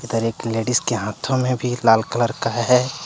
Ladies के हाथो मे भी लाल कलर का है।